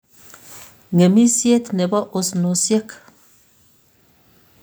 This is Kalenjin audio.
Ng'emisyet ne bo osnosyek